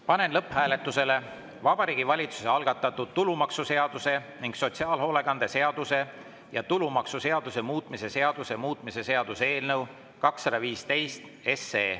Panen lõpphääletusele Vabariigi Valitsuse algatatud tulumaksuseaduse ning sotsiaalhoolekande seaduse ja tulumaksuseaduse muutmise seaduse muutmise seaduse eelnõu 215.